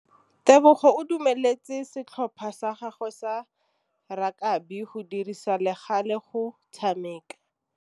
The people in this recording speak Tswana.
Tebogô o dumeletse setlhopha sa gagwe sa rakabi go dirisa le galê go tshameka.